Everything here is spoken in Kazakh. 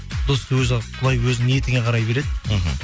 досты өзі құдай өзі ниетіңе қарай береді мхм